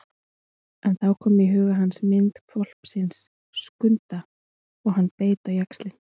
En þá kom í huga hans mynd hvolpsins Skunda og hann beit á jaxlinn.